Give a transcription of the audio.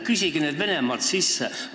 Küsige seda raha Venemaalt!